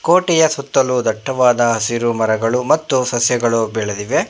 ಕೋಟಿಯ ಸುತ್ತಲೂ ದಟ್ಟವಾದ ಹಸಿರು ಮರಗಳು ಮತ್ತು ಸಸ್ಯಗಳು ಬೆಳೆದಿವೆ.